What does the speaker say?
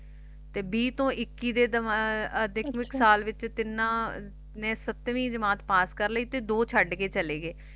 ਤੇ ਵੀਹ ਤੋਂ ਇੱਕੀ ਦੇ ਆਹ ਸਾਲ ਵਿਚ ਤਿੰਨਾਂ ਨੇ ਸੱਤਵੀ ਜਮਾਤ ਪਾਸ ਕਰ ਲਈ ਤੇ ਦੋ ਛੱਡਕੇ ਚਲੇ ਗਏ